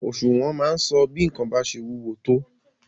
Òṣùwọ̀n máa ń sọ bí nǹkan bá ṣe wúwo tó.